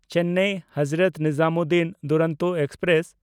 Chennai Hazrat Nizamuddin Duronto express